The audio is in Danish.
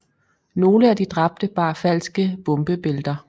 Nogle af de dræbte bar falske bombebælter